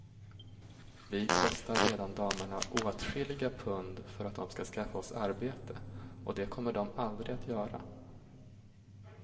Vi kostar redan damerna åtskilliga pund för att de ska skaffa oss arbete, och det kommer de aldrig att göra.